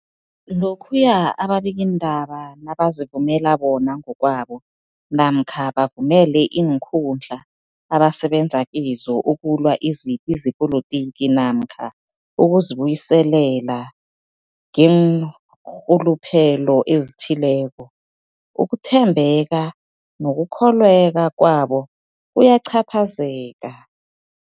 Lokhuya ababikiindaba nabazivumela bona ngokwabo namkha bavumele iinkundla abasebenza kizo ukulwa izipi zepolitiki namkha ukuzi buyiselela ngeenrhuluphelo ezithileko, ukuthembeka nokukholweka kwabo kuyacaphazeleka.